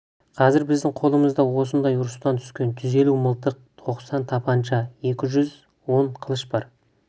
қазір біздің қолымызда осындай ұрыстан түскен жүз елу мылтық тоқсан тапанша екі жүз он қылыш бар